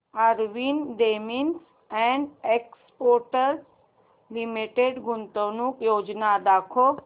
RV denims and exports limited गुंतवणूक योजना दाखव